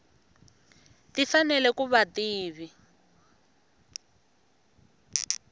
ti fanele ku va ti